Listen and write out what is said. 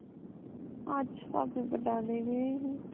ਅੱਜ ਭਾਬੀ ਬਟਾਲੇ ਗਏ ਸੀ